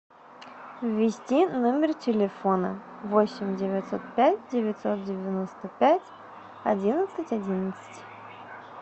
ввести номер телефона восемь девятьсот пять девятьсот девяносто пять одиннадцать одиннадцать